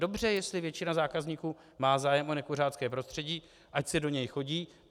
Dobře, jestli většina zákazníků má zájem o nekuřácké prostředí, ať si do něj chodí.